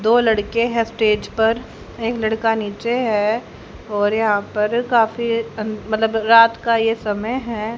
दो लड़के हैं स्टेज पर एक लड़का नीचे है और यहां पर काफी मतलब रात का ये समय है।